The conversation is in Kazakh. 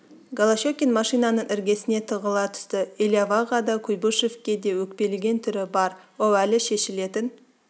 голощекин машинаның іргесіне тығыла түсті элиаваға да куйбышевке де өкпелеген түрі бар ол әлі шешілетін